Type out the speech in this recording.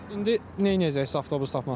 Bəs indi neyləyəcəksiz avtobus tapmasanız?